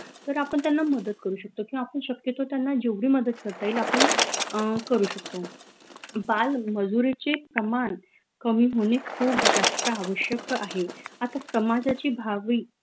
तर आपन त्यांना मदत करू शकतो किंव्हा आपन शक्यतो त्यांना जेवढी मदत करता येईल आपन अह करू शकतो बाल मजुरीचे प्रमान कमी होने खूप जास्त आवश्यक आहे आता टमाटरची भावई